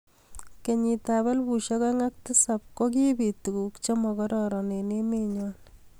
kenyitab elbushek aeng ak tisap kogibiit tuguk chemagororon eng emenyo